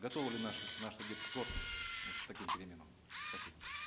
готовы ли наши наш судейский корпус вот к таким переменам спасибо